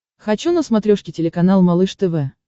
хочу на смотрешке телеканал малыш тв